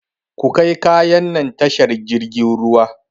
Kukai kayan nan tashar jirfin ruwa!